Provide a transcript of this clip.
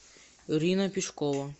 ирина пешкова